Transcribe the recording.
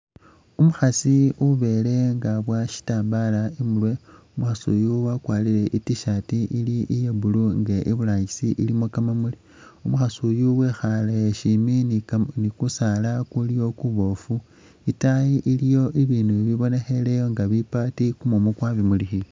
Umukhasi ubele nga abuwa shitambala i'murwe, umukhasi uyu wakwarile i'T-shirt iya blue nga iburangisi ilikho kamamuli. Umukhasi uyu wikhale shimbi ni kusaala kuliwo kuboofu. Itayi iliyo bibindu bibonekheleyo nga bipaati kumumu kwa bimulikhile.